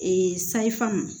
Ee sayifamu